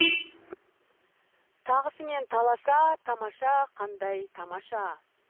тағысымен таласа тамаша қандай тамаша